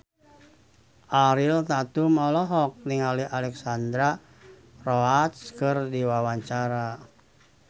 Ariel Tatum olohok ningali Alexandra Roach keur diwawancara